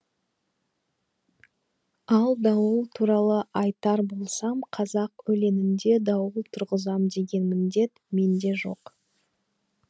ал дауыл туралы айтар болсам қазақ өлеңінде дауыл тұрғызам деген міндет менде жоқ